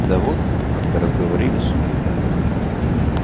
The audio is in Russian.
да вот как-то разговорились